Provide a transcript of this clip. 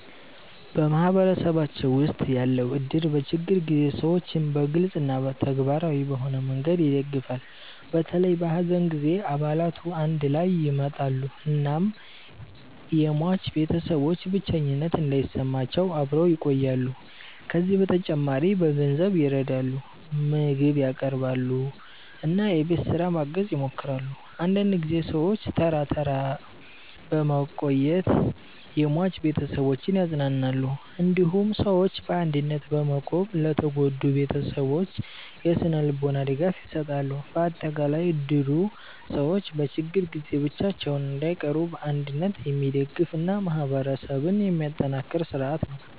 በማህበረሰባችን ውስጥ ያለው እድር በችግር ጊዜ ሰዎችን በግልጽ እና ተግባራዊ በሆነ መንገድ ይደግፋል። በተለይ በሐዘን ጊዜ አባላቱ አንድ ላይ ይመጣሉ እናም የሟች ቤተሰቦች ብቸኝነት እንዳይሰማቸው አብረው ይቆያሉ። ከዚህ በተጨማሪ በገንዘብ ይረዳሉ፣ ምግብ ያቀርባሉ እና የቤት ስራ ማገዝ ይሞክራሉ። አንዳንድ ጊዜ ሰዎች ተራ ተራ በመቆየት የሟች ቤተሰቦችን ያጽናናሉ። እንዲሁም ሰዎች በአንድነት በመቆም ለተጎዱ ቤተሰቦች የስነ-ልቦና ድጋፍ ይሰጣሉ። በአጠቃላይ እድሩ ሰዎች በችግር ጊዜ ብቻቸውን እንዳይቀሩ በአንድነት የሚደግፍ እና ማህበረሰብን የሚያጠናክር ስርዓት ነው።